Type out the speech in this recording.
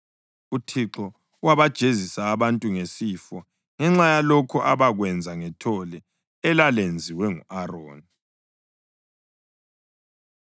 UThixo wabajezisa abantu ngesifo ngenxa yalokho abakwenza ngethole elalenziwe ngu-Aroni.